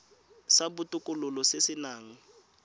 sa botokololo se se nang